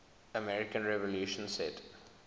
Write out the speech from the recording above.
american revolution set